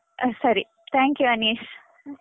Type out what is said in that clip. ಹ ಸರಿ. thank you Anish.